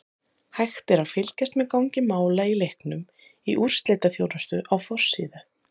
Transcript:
Hægt er að fylgjast með gangi mála í leiknum í úrslitaþjónustu á forsíðu.